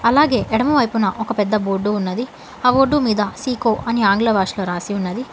అలాగే ఎడమ వైపున ఒక పెద్ద బోర్డు ఉన్నది ఆ బోర్డు మీద సీకో అని ఆంగ్ల భాషలో రాసి ఉన్నది.